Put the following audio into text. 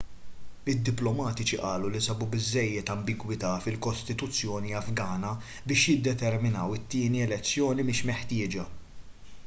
id-diplomatiċi qalu li sabu biżżejjed ambigwità fil-kostituzzjoni afgana biex jiddeterminaw it-tieni elezzjoni mhix meħtieġa